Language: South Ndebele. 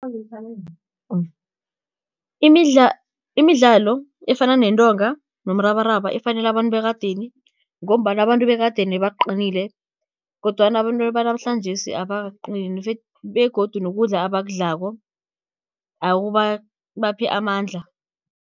imidlalo efana nentonga nomrabaraba ifanele abantu bekadeni, ngombana abantu bekadeni bebaqinile kodwana abantu banamhlanjesi abakaqini begodu nokudla abakudlako akubaphi amandla.